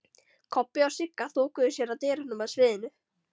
Kobbi og Sigga þokuðu sér að dyrunum að sviðinu.